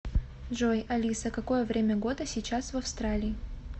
джой алиса какое время года сейчас в австралии